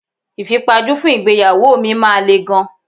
Ìfipajú fún ìgbéyàwó mi máa le gan.